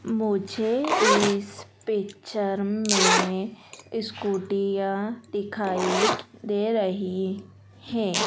मुझे इस पिक्चर मे स्कूटियां दिखाई दे रही है।